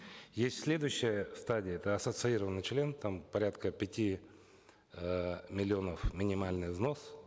есть следующая стадия это ассоциированный член там порядка пяти э миллионов минимальный взнос